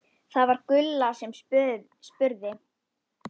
Það var Gulla sem spurði.